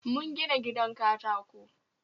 Mun gina gidan katako